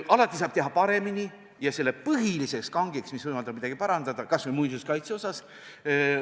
Alati saab teha paremini ja põhiline kang, mis võimaldab midagi parandada, kas või muinsuskaitses, on raha.